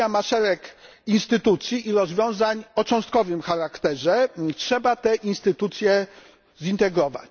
Unia ma szereg instytucji i rozwiązań o cząstkowym charakterze trzeba te instytucje zintegrować.